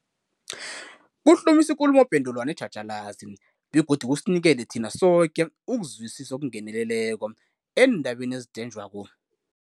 Kuhlumisa ikulumopendulwano etjhatjhalazi begodu kusinikele thina soke ukuzwisisa okungeneleleko eendabeni ezidenjwako.